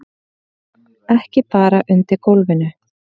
Ekki bara undir gólfinu.